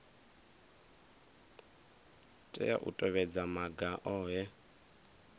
tea u tevhedza maga ohe